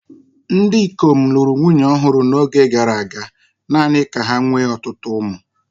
Ndị ikom lụrụ nwunye ọhụrụ n'oge gara aga, naanị ka ha nwee ọtụtụ ụmụ.